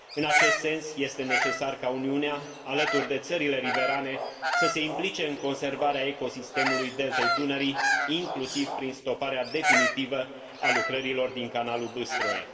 În acest sens, este necesar ca Uniunea, alături de țările riverane, să se implice în conservarea ecosistemului Deltei Dunării, inclusiv prin stoparea definitivă a lucrărilor din Canalul Bâstroe.